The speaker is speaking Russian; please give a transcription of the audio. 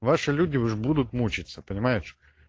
ваши люди уже будут мучаться понимаешь